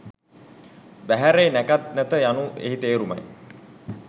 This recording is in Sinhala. වැහැරේ.නැකත් නැත යනු එහි තේරුම යි.